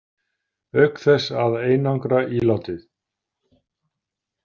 Auk þess að einangra ílátið.